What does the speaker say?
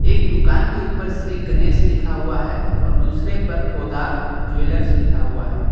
एक दुकान के ऊपर श्री गणेश लिखा हुआ हैं और दूसरे पर पोद्दार ज्वैलर लिखा हुआ है।